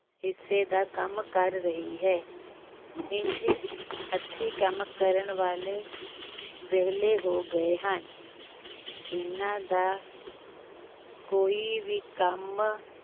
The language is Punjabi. ਹਿੱਸੇ ਦਾ ਕੰਮ ਕਰ ਰਹੀ ਹੈ, ਇੰਜ ਹੱਥੀਂ ਕੰਮ ਕਰਨ ਵਾਲੇ ਵਿਹਲੇ ਹੋ ਗਏ ਹਨ ਇਨ੍ਹਾਂ ਦਾ ਕੋਈ ਵੀ ਕੰਮ